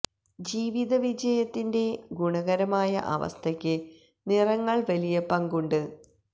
ജീവിത വിജയത്തിന്റെ ഗുണകരമായ അവസ്ഥയ്ക്ക് നിറങ്ങൾ വലിയ പങ്ക് ഉണ്ട്